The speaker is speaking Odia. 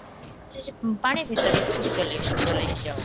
ପାଣି ଭିତରେ ସଚୋଟି ଚଳେଇ ଚଲେଇକି ଯାଅ